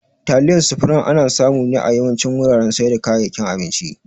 Taliyar supreme ana samu ne a yawancin wuraren saida kayakin abinci